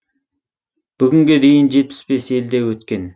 бүгінге дейін жетпіс бес елде өткен